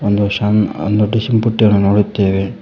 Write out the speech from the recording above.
ಒಂದು ಶಣ್ ಒಂದು ಡಿಷಿನ್ ಪುಟ್ಟಿಯನ್ನು ನೋಡುತ್ತೇವೆ